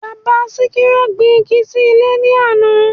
Bàbá Síkírá gbin igi sí ilé ní àná